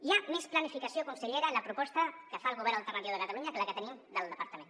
hi ha més planificació consellera a la proposta que fa el govern al·ternatiu de catalunya que la que tenim del departament